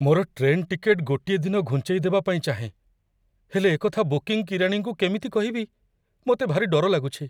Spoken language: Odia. ମୋର ଟ୍ରେନ୍ ଟିକେଟ୍ ଗୋଟିଏ ଦିନ ଘୁଞ୍ଚେଇ ଦେବା ପାଇଁ ଚାହେଁ, ହେଲେ ଏକଥା ବୁକିଂ କିରାଣୀଙ୍କୁ କେମିତି କହିବି, ମୋତେ ଭାରି ଡର ଲାଗୁଛି।